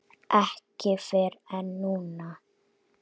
Ekki fyrr en núna.